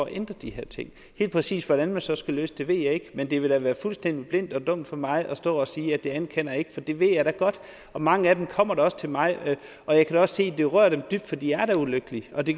at ændre de her ting helt præcist hvordan man så skal løse det ved jeg ikke men det ville da være fuldstændig blindt og dumt af mig at stå og sige at det anerkender jeg ikke for det ved jeg da godt mange af dem kommer da også til mig og jeg kan også se at det berører dem dybt for de er da ulykkelige og det